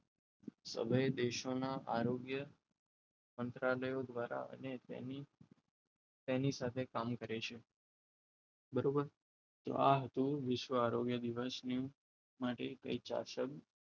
સમય દેશોના આરોગ્ય મંત્રાલય દ્વારા અને તેની સાથે કામ કરે છે બરોબર તો આ હતું વિશ્વ આરોગ્ય દિવસની માટે કંઈક ચાર શબ્દ